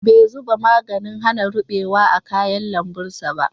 Bai zuba maganin hana ruɓewa a kayan lambun ba